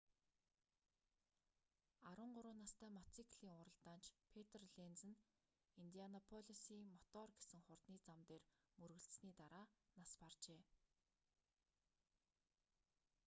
13 настай мотоциклийн уралдаанч петр ленз нь индианаполисын мотор гэсэн хурдны зам дээр мөргөлдсөний дараа нас баржээ